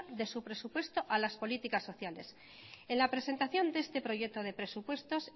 de su presupuesto a las políticas sociales en la presentación de este proyecto de presupuestos